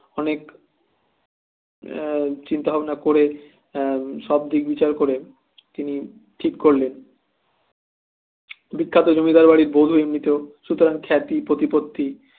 অনেক এয়া চিন্তা ভাবনা করে এ সবদিক বিচার করে তিনি ঠিক করলেন বিখ্যাত জমিদার বাড়ির বধু এমনিতেও সুতরাং খ্যাতি প্রতিপত্তি